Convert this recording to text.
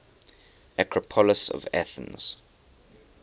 acropolis of athens